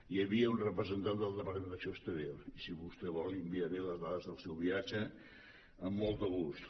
hi havia un representant del departament d’acció exterior i si vostè vol li enviaré les dades del seu viatge amb molt de gust